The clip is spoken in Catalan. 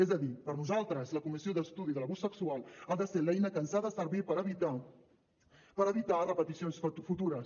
és a dir per nosaltres la comissió d’estudi de l’abús sexual ha de ser l’eina que ens ha de servir per evitar repeticions futures